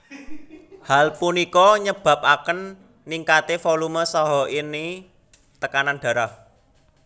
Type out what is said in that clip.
Hal punika nyebapaken ningkate volume saha ini tekanan darah